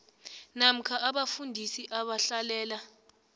namkha abafundisi abahlalela